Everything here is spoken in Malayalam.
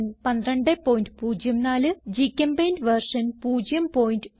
1204 ഗ്ചെമ്പെയിന്റ് വെർഷൻ 01210